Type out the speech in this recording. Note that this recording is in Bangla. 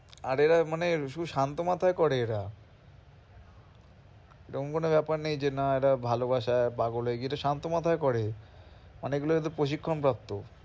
আর এরা মানে ভীষণ মাথায় করে এরকম কোনো ব্যাপার নেই যে না এরা ভালবাসায় পাগল হয়ে গিয়ে এটা শান্ত মাথায় করে। অনেক গুলো এরা প্রশিক্ষণ প্রাপ্ত।